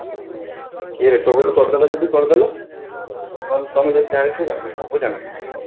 କିଏ recommend କରିଦେଲା ଯଦି କରିଦେଲା ନହେଲେ ସବୁ ଜାଣି ନଥିଲେ